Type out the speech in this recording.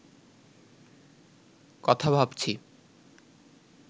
কথা ভাবছি